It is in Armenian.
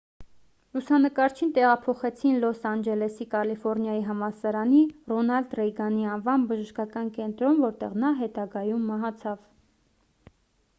լուսանկարչին տեղափոխեցին լոս անջելեսի կալիֆորնիայի համալսարանի ռոնալդ ռեյգանի անվան բժշկական կենտրոն որտեղ նա հետագայում մահացավ